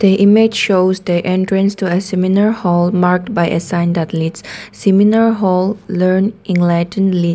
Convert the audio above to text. the image shows the entrance to as seminar hall marked by a stand athletes seminar hall learn enlighten lead.